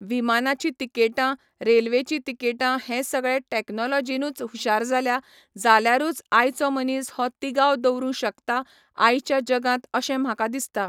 विमानाची तिकेटां, रेल्वेचीं तिकेटां हें सगळें टॅक्नोलोजीनूच हुशार जाल्या जाल्यारूच आयचो मनीस हो तिगाव दवरूं शकता आयच्या जगांत अशें म्हाका दिसता.